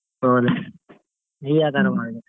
ಹೌದ್ರಿ, ನೀವ್ ಯಾವ್ಥರಾ ಮಾಡಿದ್ರಿ?